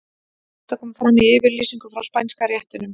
Þetta kom fram í yfirlýsingu frá Spænska réttinum.